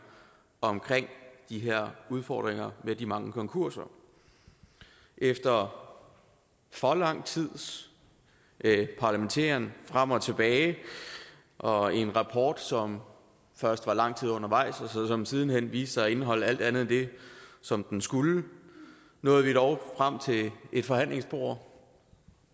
om de her udfordringer med de mange konkurser efter for lang tids parlamenteren frem og tilbage og en rapport som først var lang tid undervejs og som siden hen viste sig at indeholde alt andet end det som den skulle nåede vi dog frem til et forhandlingsbord